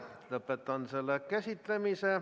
Lõpetan selle teema käsitlemise.